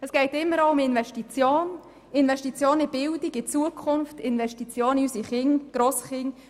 Es geht um Investitionen in die Bildung, in die Zukunft und in unsere Kinder und Grosskinder.